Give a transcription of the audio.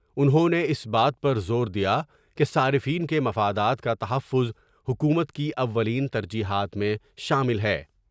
انہوں نے اس بات پر زور دیا کہ صارفین کے مفادات کا تحفظ حکومت کی اولین ترجیحات میں شامل ہے ۔